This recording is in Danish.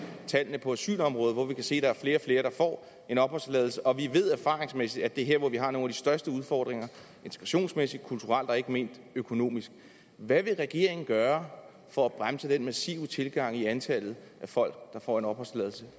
tallene på asylområdet der kan vi se at flere og flere får en opholdstilladelse og vi ved erfaringsmæssigt at det er her vi har nogle største udfordringer integrationsmæssigt kulturelt og ikke mindst økonomisk hvad vil regeringen gøre for at bremse den massive tilgang i antallet af folk der får en opholdstilladelse